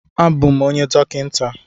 A bụ m onye dọkịnta.